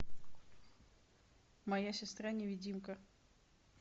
моя сестра невидимка